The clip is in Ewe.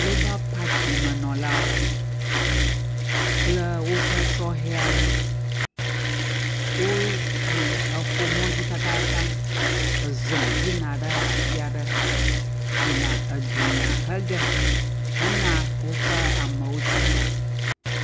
..ba pati menɔlawo kple woƒe sɔhɛawo wo el… exɔ mɔ dzi tatataŋ ezɔ̃ yina ɖe afi aɖe yina edunya he ge hena woƒe amewo tsatsaŋ.